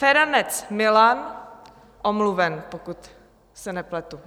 Feranec Milan: Omluven, pokud se nepletu.